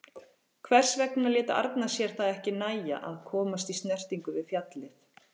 Hvers vegna lét Arnar sér það ekki nægja að komast í snertingu við fjallið?